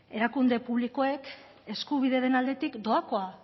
erakunde publikoek eskubideren aldetik doakoa